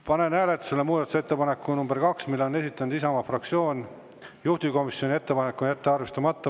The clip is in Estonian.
Panen hääletusele muudatusettepaneku nr 2, mille on esitanud Isamaa fraktsioon, juhtivkomisjoni ettepanek on jätta arvestamata.